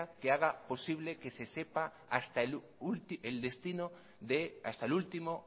que haga posible que se sepa hasta el último